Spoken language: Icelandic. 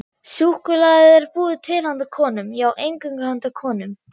Súkkulaði er búið til handa konum, já, eingöngu handa konum.